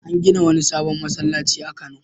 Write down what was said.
An gina wani sabon masallaci a Kano.